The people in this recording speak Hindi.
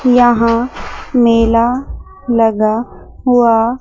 यहां मेला लगा हुआ--